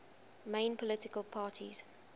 main political parties